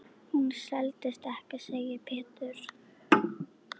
Hún seldist ekki, segir Pétur.